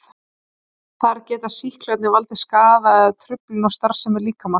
Þar geta sýklarnir valdið skaða eða truflun á starfsemi líkamans.